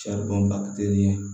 Saribɔn ba te ni